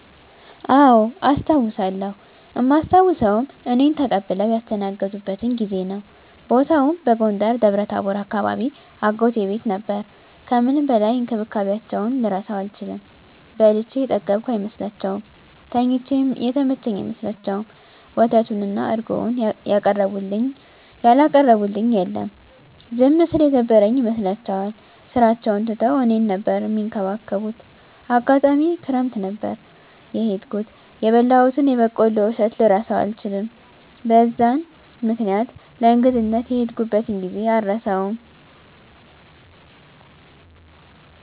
አዎ አስታዉሳለው እማስታዉሰዉም እኔን ተቀብለዉ ያስተናገዱበትን ጊዜ ነዉ። ቦታዉም በጎንደር ደብረታቦር አካባቢ አጎቴ ቤት ነበር ከምንም በላይ እንክብካቤያቸዉን ልረሳዉ አልችልም። በልቼ የጠገብኩ አይመስላቸዉም፣ ተኝቼ የተመቸኝ አይመስላቸዉም፣ ወተቱን እና እረጎዉን ያላቀረቡልኝ የለም። ዝም ስል የደበረኝ ይመስላቸዋል ስራቸዉን ትተዉ እኔን ነበር እሚንከባከቡት፣ አጋጣሚ ክረምት ነበር የሄድኩት የበላሁትን የበቆሎ እሸት ልረሳዉ አልችልም። በዛን በዛን ምክኒያት ለእንግድነት የሄድኩበትን ጊዜ አረሳዉም።